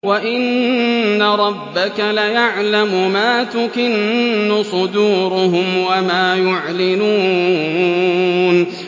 وَإِنَّ رَبَّكَ لَيَعْلَمُ مَا تُكِنُّ صُدُورُهُمْ وَمَا يُعْلِنُونَ